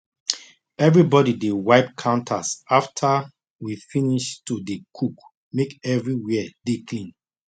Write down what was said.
everybody dey wipe counters after we finish to dey cook make everywhere dey clean